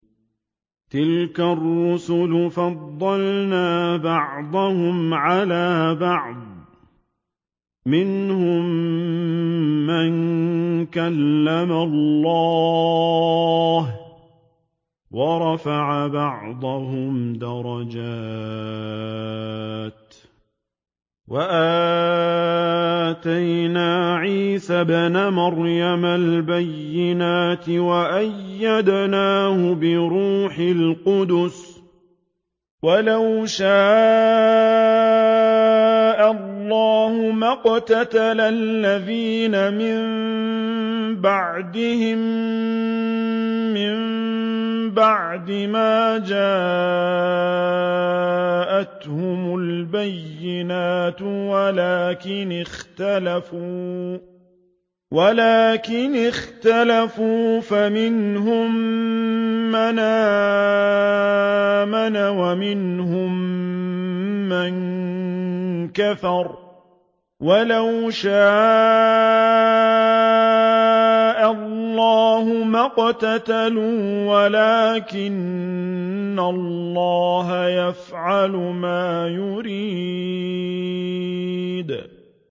۞ تِلْكَ الرُّسُلُ فَضَّلْنَا بَعْضَهُمْ عَلَىٰ بَعْضٍ ۘ مِّنْهُم مَّن كَلَّمَ اللَّهُ ۖ وَرَفَعَ بَعْضَهُمْ دَرَجَاتٍ ۚ وَآتَيْنَا عِيسَى ابْنَ مَرْيَمَ الْبَيِّنَاتِ وَأَيَّدْنَاهُ بِرُوحِ الْقُدُسِ ۗ وَلَوْ شَاءَ اللَّهُ مَا اقْتَتَلَ الَّذِينَ مِن بَعْدِهِم مِّن بَعْدِ مَا جَاءَتْهُمُ الْبَيِّنَاتُ وَلَٰكِنِ اخْتَلَفُوا فَمِنْهُم مَّنْ آمَنَ وَمِنْهُم مَّن كَفَرَ ۚ وَلَوْ شَاءَ اللَّهُ مَا اقْتَتَلُوا وَلَٰكِنَّ اللَّهَ يَفْعَلُ مَا يُرِيدُ